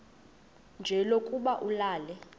nje lokuba ulale